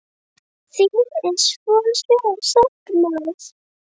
Þín er svo sárt saknað.